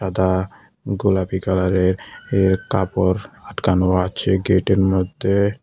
সাদা গোলাপি কালারের এর কাপড় আটকানো আছে গেটের মধ্যে।